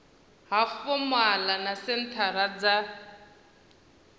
ha fomala na senthara dza